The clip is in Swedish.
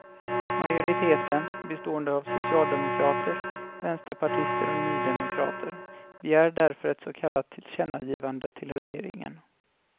Majoriteten, bestående av socialdemokrater, vänsterpartister och nydemokrater, begär därför ett så kallat tillkännagivande till regeringen.